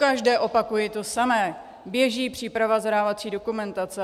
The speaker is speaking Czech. Pokaždé opakuji to samé, běží příprava zadávací dokumentace.